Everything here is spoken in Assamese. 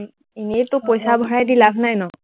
এনেইটো পইচা ভৰাই দি লাভ নাই ন?